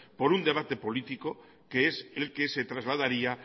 por un debate político que es el que se trasladaría